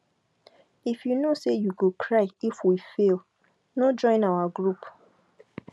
if you know say you go cry if we fail no join our group